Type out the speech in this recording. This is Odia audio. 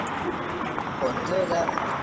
ହୁଁ ହୁଁ କରିଦିଅ ଯାହା ପାରୁଛ।